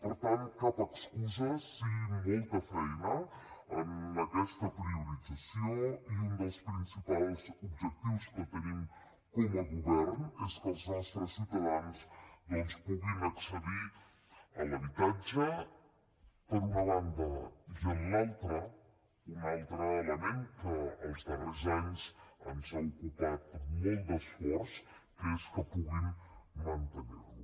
per tant cap excusa sí molta feina en aquesta priorització i un dels principals objectius que tenim com a govern és que els nostres ciutadans puguin accedir a l’habitatge per una banda i per l’altra un altre element que els darrers anys ens ha ocupat molt d’esforç que és que puguin mantenir lo